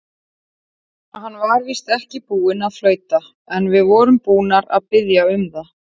Hann var víst ekki búinn að flauta, en við vorum búnir að biðja um það.